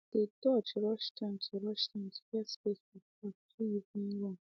dey dodge rush time to rush time to get space for park do evening run